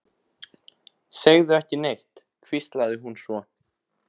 Segðu ekki neitt, hvíslaði hún svo.